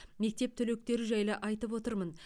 мектеп түлектері жайлы айтып отырмын